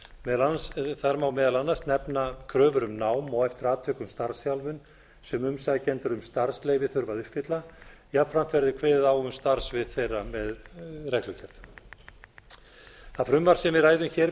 í stjórnvaldsfyrirmælum þar má meðal annars nefna kröfur um nám og eftir atvikum starfsþjálfun sem umsækjendur um starfsleyfi þurfa að uppfylla jafnframt verður kveðið á um starfssvið þeirra með reglugerð það frumvarp sem við ræðum hér